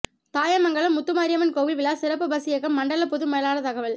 தாயமங்கலம் முத்துமாரியம்மன் கோவில் விழா சிறப்பு பஸ் இயக்கம் மண்டல பொது மேலாளர் தகவல்